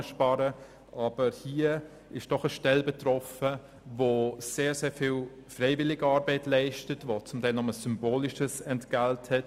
Hier ist doch eine Stelle betroffen, die sehr viel Freiwilligenarbeit leistet und zum Teil nur ein symbolisches Entgelt erhält.